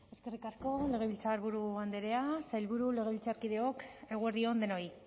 eskerrik asko legebiltzarburu andrea sailburu legebiltzarkideok eguerdi on denoi